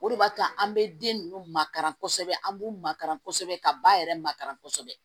O de b'a to an bɛ den ninnu makara kosɛbɛ an b'u makaran kosɛbɛ ka ba yɛrɛ makara kɔsɔbɛ